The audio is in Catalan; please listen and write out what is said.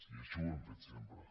i així ho hem fet sempre